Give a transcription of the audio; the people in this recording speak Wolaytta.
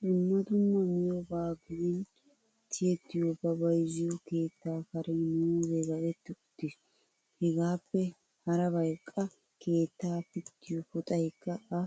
Dumma dumma miyoobaa gidin ti''ettiyooba bayizziyoo keetaa karen muuzzee kaqetti uttis. Hegaappe harabayi qa keetta pittiyoo puxayikka ha